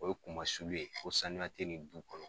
O ye kumasulu ye ko sanuya tɛ ni du kɔnɔ.